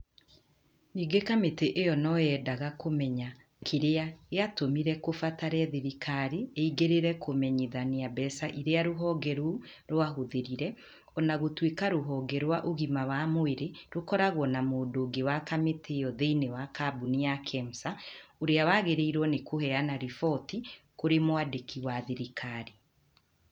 Ningĩ kamĩtĩ ĩo no yendaga kũmenya kĩrĩa gĩatũmire kũbatare thirikari ĩingĩrĩre kũmenyithania mbeca iria rũhonge rũu rwahũthĩrĩte o na gũtuika rũhonge rwa ũgima wa mwĩrĩ ĩkoragwo na mũndũ ũngĩ wa kamĩtĩ ĩyo thĩĩni wa kambũni ya Kemsa ũrĩa wagĩrĩirwo nĩ kũheana riboti kũrĩ mwandĩki wa thirikari.